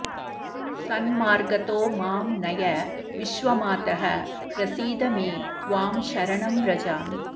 सन्मार्गतो मां नय विश्वमातः प्रसीद मे त्वां शरणं व्रजामि